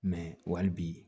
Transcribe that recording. wali bi